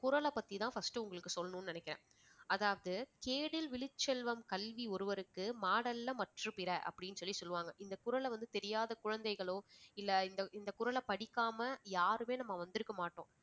குறள பத்தி தான் first உங்களுக்கு சொல்லணும்னு நினைக்கிறேன். அதாவது கேடில் விழிச்செல்வம் கல்வி ஒருவருக்கு மாடல்ல மற்று பிற அப்படின்னு சொல்லி சொல்லுவாங்க. இந்தக் குறளை வந்து தெரியாத குழந்தைகளோ இல்ல இந்த இந்த குறளை படிக்காம யாருமே நம்ம வந்திருக்க மாட்டோம்